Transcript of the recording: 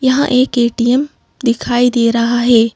यहाँ एक ए_टी_एम दिखाई दे रहा है।